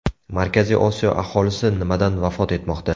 Markaziy Osiyo aholisi nimadan vafot etmoqda?.